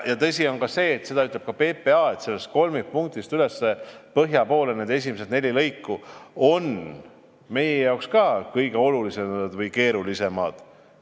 Tõsi on see ja seda ütleb ka PPA, et sellest kolmikpunktist põhja poole esimesed neli lõiku on meie jaoks kõige olulisemad või keerulisemad.